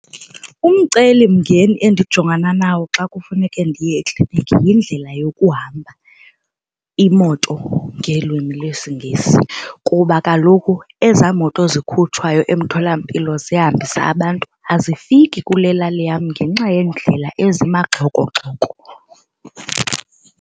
Umcelimngeni endjongana nawo xa kufuneke ndiye ekliniki yindlela yokuhamba imoto ngelwimi lwesiNgesi kuba kaloku ezaa moto zikhutshwayo emtholampilo zihambisa abantu azifiki kule lali yam ngenxa yeendlela ezimagxokogxoko.